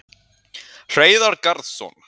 Hreiðar Garðsson,